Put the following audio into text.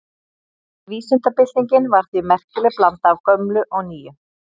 Vísindabyltingin var því merkileg blanda af gömlu og nýju.